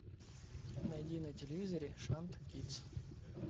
найди на телевизоре шант кидс